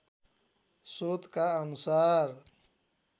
स्रोतका अनुसार